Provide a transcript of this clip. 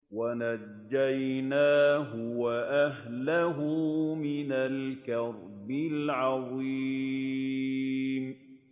وَنَجَّيْنَاهُ وَأَهْلَهُ مِنَ الْكَرْبِ الْعَظِيمِ